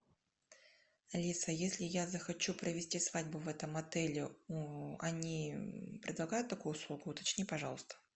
алиса если я захочу провести свадьбу в этом отеле они предлагают такую услугу уточни пожалуйста